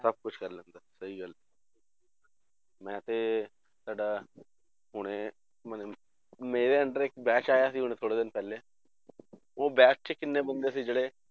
ਸਭ ਕੁਛ ਕਰ ਲੈਂਦਾ ਸਹੀ ਗੱਲ ਹੈ ਮੈਂ ਤੇ ਤੁਹਾਡਾ ਹੁਣੇ ਮਨੇ ਮੇਰੇ under ਇੱਕ batch ਆਇਆ ਸੀ ਹੁਣ ਥੋੜ੍ਹੇ ਦਿਨ ਪਹਿਲੇ ਉਹ batch 'ਚ ਕਿੰਨੇ ਬੰਦੇ ਸੀ ਜਿਹੜੇ